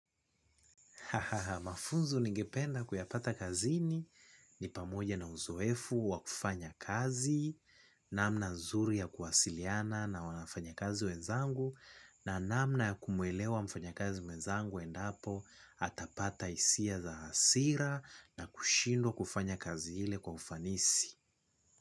Ha ha ha, mafunzo ningependa kuyapata kazini ni pamoja na uzoefu wa kufanya kazi, namna nzuri ya kuwasiliana na wafanyakazi wenzangu na namna ya kumwelewa mfanyakazi wezangu endapo atapata hisia za hasira na kushindwa kufanya kazi ile kwa ufanisi.